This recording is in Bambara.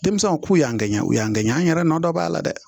Denmisɛnw k'u y'an ŋɛɲɛ u y'an gɛn an yɛrɛ nɔ dɔ b'a la dɛ